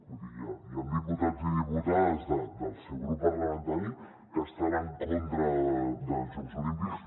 vull dir hi han diputats i diputades del seu grup parlamentari que estan en contra dels jocs olímpics